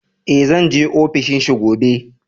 E, zan je ofishi gobe.